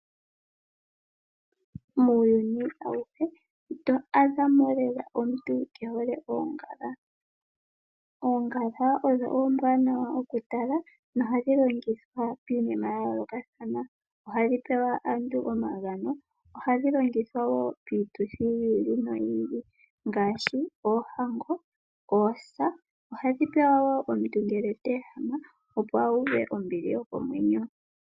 Muuyuni awuhe ito adha mo lela omuntu ke hole oongala. Oongala odho oombwanawa oku tala, nohadhi longithwa piinima ya yoolokatathana. Ohadhi pewa aantu omagano, ohadhi longithwa wo piituthi yi ili noyi ili ngaashi oohango, oosa, ohadhi pewa wo omuntu ngele ta ehama opo a uve nombili yokomwenyo.